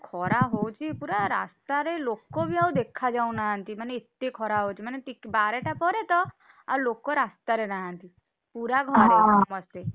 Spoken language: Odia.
ଖରା ହଉଛିପୁରା ରାସ୍ତାରେ ଲୋକବି ଆଉ ଦେଖାଯାଉ ନାହାଁନ୍ତି, ମାନେ ଏତେ ଖରା ହଉଛି, ମାନେ ଟିକ~ବାରେଟା ପରେତ ଲୋକ ରାସ୍ତା ରେ ନାହାଁନ୍ତି